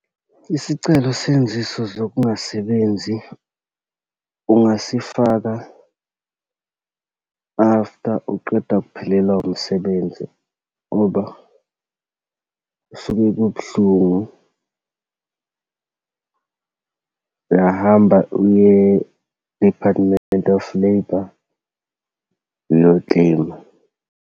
Isicelo senziso zokungasebenzi ongasifaka after uqeda kuphelelwa umsebenzi ngoba kusuke kubuhlungu. Uyahamba uye e-Department of Labour uyokleyima.